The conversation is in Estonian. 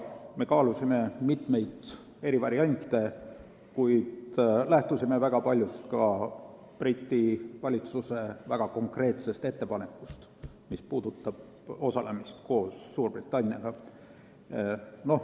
Me kaalusime mitmeid eri variante, kuid lähtusime väga paljus ka Briti valitsuse väga konkreetsest ettepanekust, mis puudutab osalemist koos Suurbritanniaga.